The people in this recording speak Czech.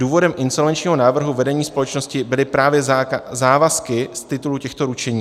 Důvodem insolvenčního návrhu vedení společnosti byly právě závazky z titulu těchto ručení.